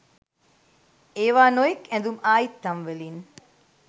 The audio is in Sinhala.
ඒවා නොයෙක් ඇඳුම් ආයිත්තම්වලින්